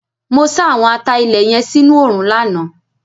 Mo sá àwọn ata-ilé yẹn sínú òòrùn lánàá.